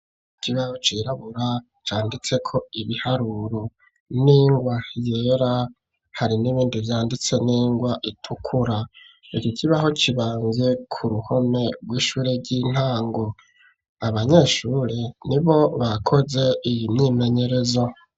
Ikibaho cirabura canditseko ibiharuro n'ingwa yera, hari n'ibindi vyanditse n'ingwa itukura. Iki kibaho kibamvye ku ruhome rw'ishure ry'intango. Abanyeshuri nibo bakoze iyi myimenyerezo.